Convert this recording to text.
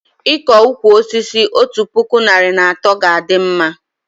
Iko ụkwụ osisi otu puku narị na atọ ga a dị mma